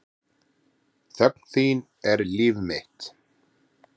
Þögn þín er líf mitt.